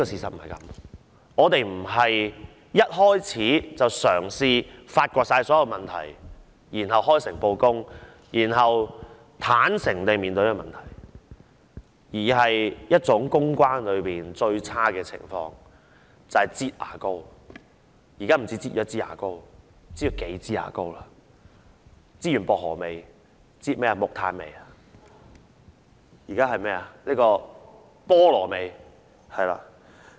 政府不是一開始便嘗試發掘所有問題，然後開誠布公，坦誠面對問題，而是使用一種公關中最差的手法，"擠牙膏"——現在不止擠一枝牙膏，而是擠了數枝牙膏，擠完薄荷味，現在是擠木炭味、菠蘿味，是嗎？